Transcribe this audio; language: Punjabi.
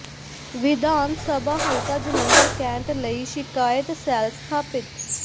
ਵਿਧਾਨ ਸਭਾ ਹਲਕਾ ਜਲੰਧਰ ਕੈਂਟ ਲਈ ਸ਼ਿਕਾਇਤ ਸੈੱਲ ਸਥਾਪਿਤ